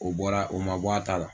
O bɔra o ma bɔ a t'a la